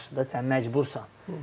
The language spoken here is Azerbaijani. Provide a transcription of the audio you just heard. Yaxşıdır da, sən məcbursan.